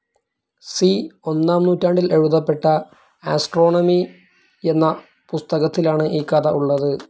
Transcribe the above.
C. ഒന്നാം നൂറ്റാണ്ടിൽ എഴുതപ്പെട്ട ആസ്ട്രോണമി എന്ന പുസ്തകത്തിലാണ് ഈ കഥ ഉള്ളത്.